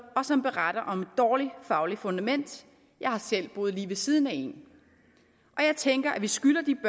og som beretter om et dårlig fagligt fundament jeg har selv boet lige ved siden af en og jeg tænker at vi skylder de